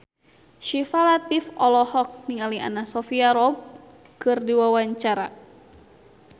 Syifa Latief olohok ningali Anna Sophia Robb keur diwawancara